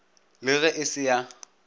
le ge e se ya